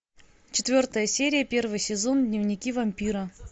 четвертая серия первый сезон дневники вампира